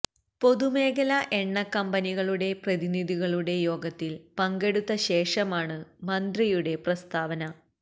പൊതു മേഖലാ എണ്ണക്കമ്പനികളുടെ പ്രതിനിധികളുടെ യോഗത്തില് പങ്കെടുത്ത ശേഷമാണ് മന്ത്രിയുടെ പ്രസ്താവന